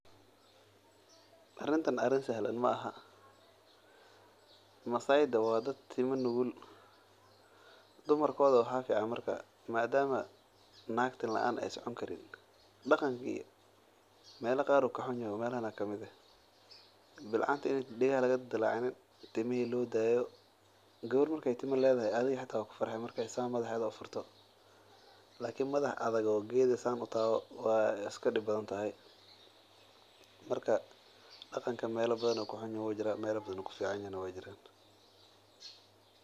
Arintan arin sahlan maahan masaayda waa dad tima nugul dadkooda waxaa fican madama naag tima laan aay socon karin in timaha laga jarin oo degaha laga goynin madama aay folxuma noqyan.